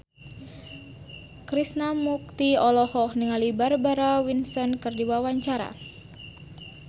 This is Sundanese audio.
Krishna Mukti olohok ningali Barbara Windsor keur diwawancara